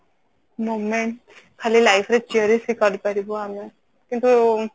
moment ଖାଲି life ରେ cherish ହିଁ କରି ପାରିବୁ ଆମେ କିନ୍ତୁ ଉଁ